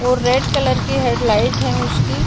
और red colour की headlight है उसकी।